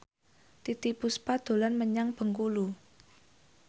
Titiek Puspa dolan menyang Bengkulu